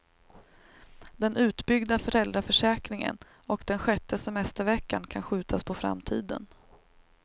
Den utbyggda föräldraförsäkringen och den sjätte semesterveckan kan skjutas på framtiden.